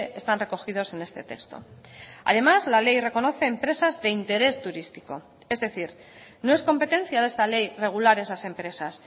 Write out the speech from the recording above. están recogidos en este texto además la ley reconoce empresas de interés turístico es decir no es competencia de esta ley regular esas empresas